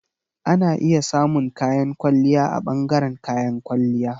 Ana iya samun kayan kwalliya a ɓangaren kayan kwalliya.